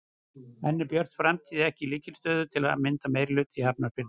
En er Björt framtíð ekki í lykilstöðu til að mynda meirihluta í Hafnarfirði?